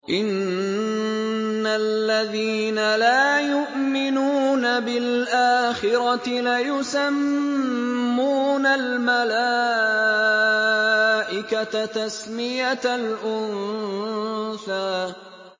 إِنَّ الَّذِينَ لَا يُؤْمِنُونَ بِالْآخِرَةِ لَيُسَمُّونَ الْمَلَائِكَةَ تَسْمِيَةَ الْأُنثَىٰ